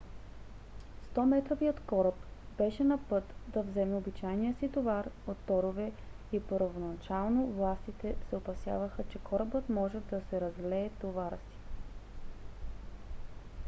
100 - метровият кораб беше на път да вземе обичайния си товар от торове и първоначално властите се опасяваха че корабът може да се разлее товара си